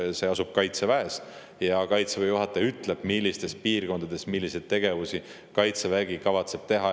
See asub Kaitseväes ja Kaitseväe juhataja ütleb, millistes piirkondades milliseid tegevusi Kaitsevägi kavatseb teha.